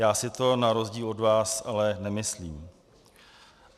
Já si to na rozdíl od vás ale nemyslím.